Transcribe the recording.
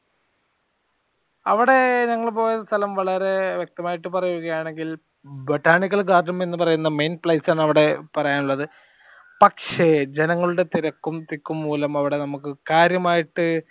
അവടെ ഞങ്ങൾ പോയ സ്ഥലം വളരെ വ്യക്തമായിട്ട് പറയുകയാണെങ്കിൽ botanical garden എന്ന് പറയുന്ന main place ആണ് അവടെ പറയാൻ ഉള്ളത് പക്ഷെ ജനങ്ങളുടെ തിരക്കും തിക്കും മൂലം അവടെ നമുക്ക് അവടെ കാര്യമായിട്ട്